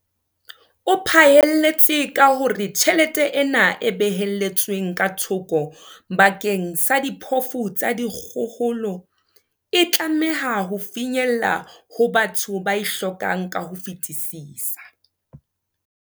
O phaelletse ka hore tjhelete ena e behelletsweng ka thoko bakeng sa diphofu tsa dikgohola e tlameha ho finyella ho batho ba e hlokang ka ho fetisisa.